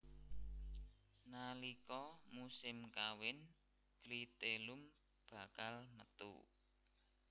Nalika musim kawin klitelum bakal metu